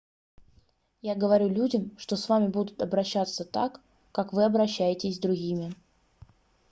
я говорю людям что с вами будут обращаться так как вы обращаетесь с другими